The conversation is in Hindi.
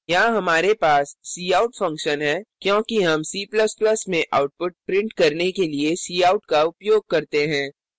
यहाँ हमारे पास cout function है क्योंकि हम c ++ में output print करने के लिए cout का उपयोग करते हैं